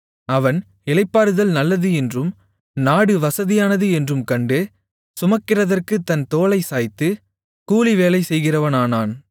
அவன் இளைப்பாறுதல் நல்லது என்றும் நாடு வசதியானது என்றும் கண்டு சுமக்கிறதற்குத் தன் தோளைச் சாய்த்து கூலிவேலை செய்கிறவனானான்